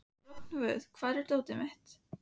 Rongvuð, hvar er dótið mitt?